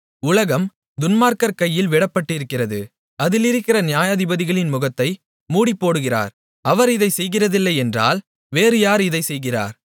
உலகம் துன்மார்க்கர் கையில் விடப்பட்டிருக்கிறது அதிலிருக்கிற நியாயாதிபதிகளின் முகத்தை மூடிப்போடுகிறார் அவர் இதைச் செய்கிறதில்லையென்றால் வேறு யார் இதைச் செய்கிறார்